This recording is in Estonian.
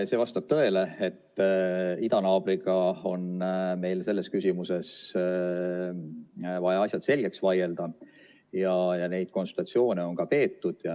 See vastab tõele, et idanaabriga on meil selles küsimuses vaja asjad selgeks vaielda ja neid konsultatsioone on ka peetud.